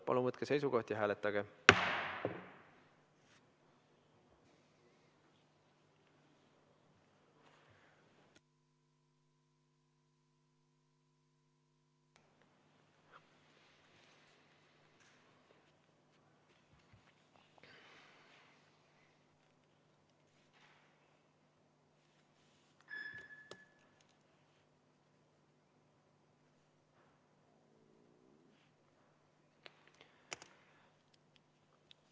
Palun võtke seisukoht ja hääletage!